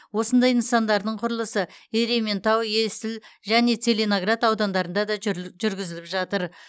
осындай нысандардың құрылысы ерейментау есіл және целиноград аудандарында да жүргізіліп жатыр